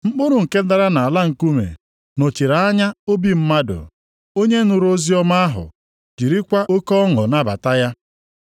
Mkpụrụ nke dara nʼala nkume nọchiri anya obi mmadụ onye nụrụ oziọma ahụ, jirikwa oke ọṅụ nabata ya.